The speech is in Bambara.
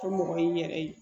O mɔgɔ y'i yɛrɛ ye